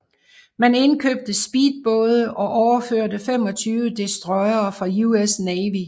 Man indkøbte speedbåde og overførte 25 destroyere fra US Navy